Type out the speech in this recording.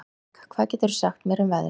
Berg, hvað geturðu sagt mér um veðrið?